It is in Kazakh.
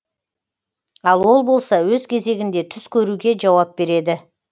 ал ол болса өз кезегінде түс көруге жауап береді